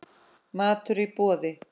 Matur í boði.